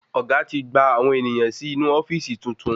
Ọ̀gá ti gbà àwọn ènìyàn sì inú ofíìsì tuntun